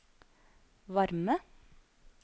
varme